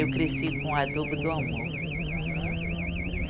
Eu cresci com adubo do amor.